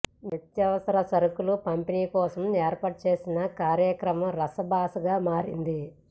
నిత్యావసర సరకులు పంపిణీ కోసం ఏర్పాటు చేసిన కార్యక్రమం రసాభాసగా మారింది